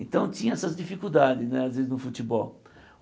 Então tinha essas dificuldades né, às vezes, no futebol.